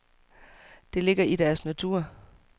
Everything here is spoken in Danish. Det ligger i deres natur.